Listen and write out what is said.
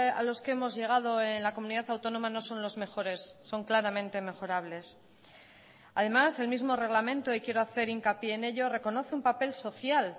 a los que hemos llegado en la comunidad autónoma no son los mejores son claramente mejorables además el mismo reglamento y quiero hacer hincapié en ello reconoce un papel social